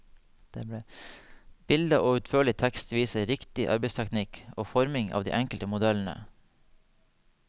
Bilde og utførlig tekst viser riktig arbeidsteknikk og forming av de enkelte modellene.